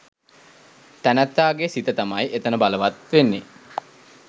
තැනැත්තාගේ සිත තමයි එතන බලවත් වෙන්නේ.